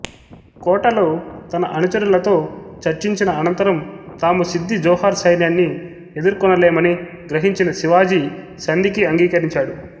కోటలో తన అనుచరులతో చర్చించిన అనంతరం తాము సిద్ది జోహార్ సైన్యాన్ని ఎదుర్కొనలేమని గ్రహించిన శివాజీ సంధికి అంగీకరించాడు